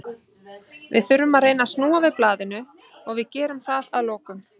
Við þurfum að reyna að snúa við blaðinu og við gerum það að lokum.